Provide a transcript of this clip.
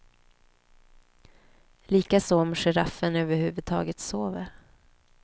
Likaså om giraffen över huvud taget sover.